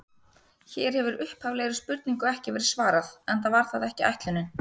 Hér hefur upphaflegri spurningu ekki verið svarað, enda var það ekki ætlunin.